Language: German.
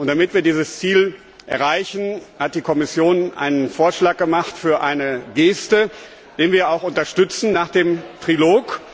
Damit wir dieses Ziel erreichen, hat die Kommission einen Vorschlag gemacht für eine Geste, den wir auch unterstützen nach dem Trilog.